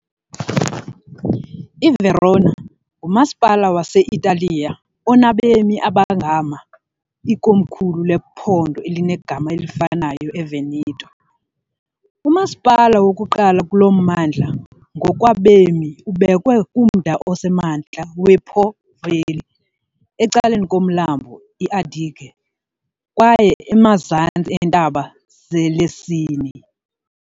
IVerona ngumasipala wase-Italiya onabemi abangama , ikomkhulu lephondo elinegama elifanayo eVeneto. Umasipala wokuqala kulo mmandla ngokwabemi, ubekwe kumda osemantla wePo Valley, ecaleni komlambo iAdige kwaye emazantsi eentaba zeLessini.